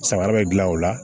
Samara bɛ gilan o la